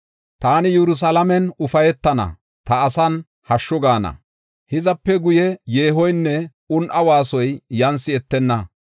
Taani Yerusalaamen ufaytana; ta asan hashshu gaana. Hizape guye yeehoynne un7a waasoy yan si7etenna.